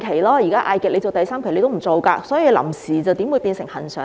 所以，如果局長不肯，"臨時"又豈會變成"恆常"？